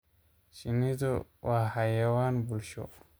Shinnidu waa xayawaan bulsho.